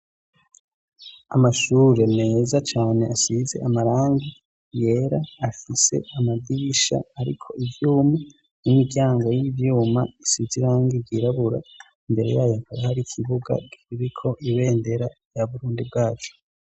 amashure neza cyane asize amarangi yera afise amadisha ariko ibyuma n'imiryango y'ibyuma isizirangi yirabura mbere yayo akore hari ikibuga biriko ibendera ya burundi bwacu